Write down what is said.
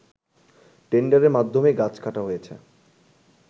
টেন্ডারের মাধ্যমেই গাছ কাটা হয়েছে